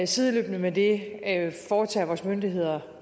sideløbende med det foretager vores myndigheder